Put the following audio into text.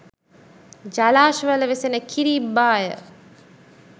ජලාශවල වෙසෙන කිරි ඉබ්බාය